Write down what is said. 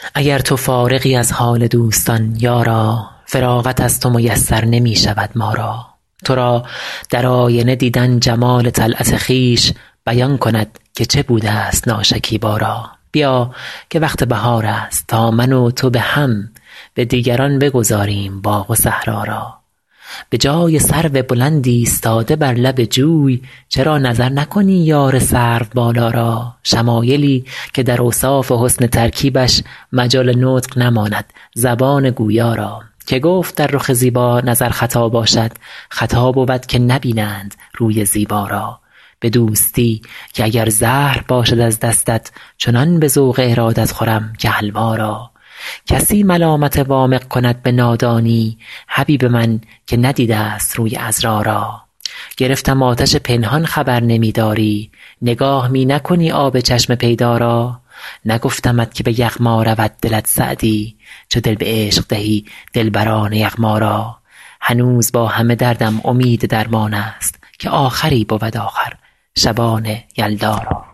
اگر تو فارغی از حال دوستان یارا فراغت از تو میسر نمی شود ما را تو را در آینه دیدن جمال طلعت خویش بیان کند که چه بوده ست ناشکیبا را بیا که وقت بهار است تا من و تو به هم به دیگران بگذاریم باغ و صحرا را به جای سرو بلند ایستاده بر لب جوی چرا نظر نکنی یار سروبالا را شمایلی که در اوصاف حسن ترکیبش مجال نطق نماند زبان گویا را که گفت در رخ زیبا نظر خطا باشد خطا بود که نبینند روی زیبا را به دوستی که اگر زهر باشد از دستت چنان به ذوق ارادت خورم که حلوا را کسی ملامت وامق کند به نادانی حبیب من که ندیده ست روی عذرا را گرفتم آتش پنهان خبر نمی داری نگاه می نکنی آب چشم پیدا را نگفتمت که به یغما رود دلت سعدی چو دل به عشق دهی دلبران یغما را هنوز با همه دردم امید درمان است که آخری بود آخر شبان یلدا را